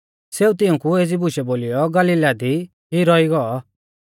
सेऊ तिऊंकु एज़ी बुशै बोलीयौ गलीला दी ई रौई गौ